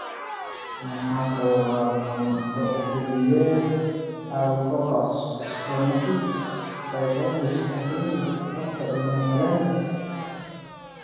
Maxaa sababa qandho xilliyeed, aphthous stomatitis, pharyngitis, adenitis afka ilmo-galeenka (PFAPA)?